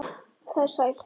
Það er sætt.